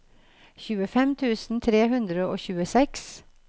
tjuefem tusen tre hundre og tjueseks